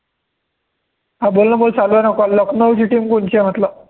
हा बोलणं भाऊ चालू आहे ना call लखनऊची team कोणची आहे म्हटलं